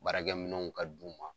Baarakɛ minnɛnw ka d'u ma .